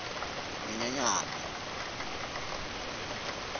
nyenyenyana